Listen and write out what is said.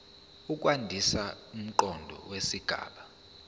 ukwandisa umqondo wesigaba